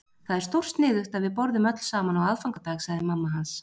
Það er stórsniðugt að við borðum öll saman á aðfangadag, sagði mamma hans.